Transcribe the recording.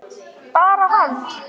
Bara hann?